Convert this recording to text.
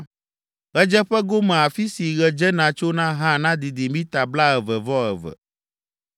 Ɣedzeƒe gome afi si ɣe dzena tsona hã nadidi mita blaeve-vɔ-eve.